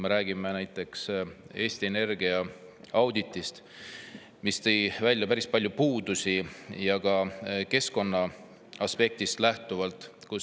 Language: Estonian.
Me räägime näiteks Eesti Energia auditist, mis tõi välja päris palju puudusi, ka keskkonnaaspektist lähtuvalt.